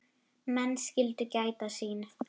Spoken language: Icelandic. Menn skyldu gæta sín.